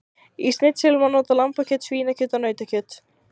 Í snitsel má nota lambakjöt, svínakjöt og nautakjöt.